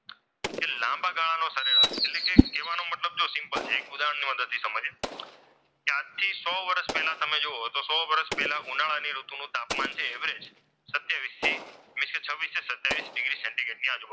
કહેવાનો મતલબ સિમ્પલ છે જો એક ઉદાહરણની મદદથી સમજીએ આજથી સો વર્ષ પહેલા જુઓ તો સો વર્ષ પહેલા ઉનાળાની ઋતુ નુ તાપમાન છે એ એવરેજ સત્યાવીસ થી વીસ કે છવ્વીસ કે સત્યાવીસ સેન્ટીગ્રેડની આજુબાજુ,